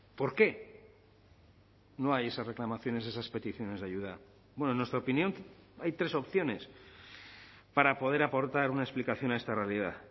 por qué no hay esas reclamaciones esas peticiones de ayuda en nuestra opinión hay tres opciones para poder aportar una explicación a esta realidad